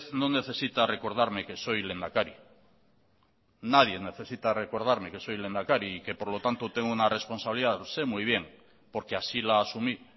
no necesita recordarme que soy lehendakari nadie necesita recordarme que soy lehendakari y que por lo tanto tengo una responsabilidad sé muy bien porque así la asumí